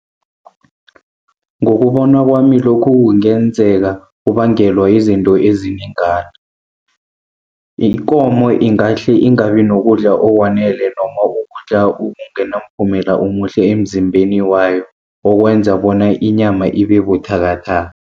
Ngokubona kwami lokhu kungenzeka kubangelwa yizinto ezinengana. Ikomo ingahle ingabi nokudla okwanele noma ukudla okungenamphumela omuhle emzimbeni wayo. Okwenza bona inyama ibe buthakathaka.